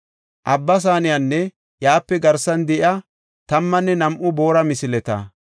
Abba Saaneynne iyape garsan de7iya tammanne nam7u boora misileta,